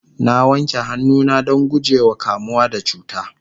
na wanke hannu na Dan gujewa kamuwa da cuta